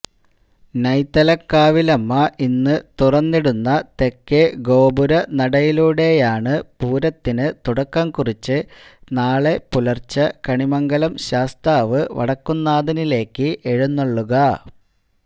നൈതലക്കാവിലമ്മ ഇന്ന് തുറന്നിടുന്ന തെക്കേഗോപുരനടയിലൂടെയാണ് പൂരത്തിന് തുടക്കം കുറിച്ച് നാളെ പുലര്ച്ചെ കണിമംഗലം ശാസ്താവ് വടക്കുന്നാഥനിലേക്ക് എഴുന്നള്ളുക